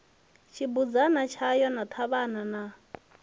tshibudzana tshayo na ṱhavhana na